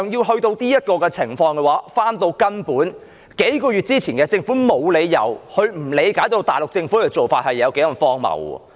事到如今，再回到根本，在數個月前，政府沒有理由不理解大陸政府的做法是多麼的荒謬。